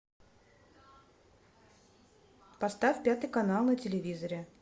поставь пятый канал на телевизоре